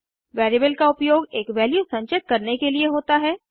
variable का उपयोग एक वैल्यू संचित करने के लिए होता है